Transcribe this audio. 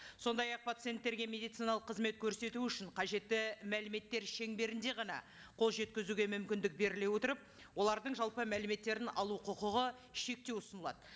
сондай ақ пациенттерге медициналық қызмет көрсету үшін қажетті мәліметтер шеңберінде ғана қол жеткізуге мүмкіндік беріле отырып олардың жалпы мәліметтерін алу құқығын шектеу ұсынылады